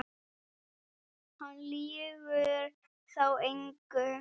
Hann lýgur þá engu.